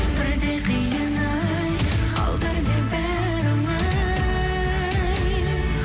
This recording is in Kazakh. бірде қиын ай ал бірде бәрі оңай